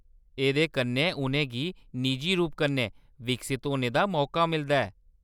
एह्‌‌‌दे कन्नै उʼनें गी निजी रूप कन्नै विकसत होने दा मौका मिलदा ऐ।